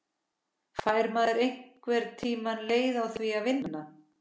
Fær maður einhvern tíma leið á því að vinna?